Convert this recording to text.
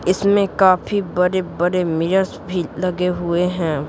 इसमें काफी बड़े-बड़े मिरर भी लगे हुए हैं।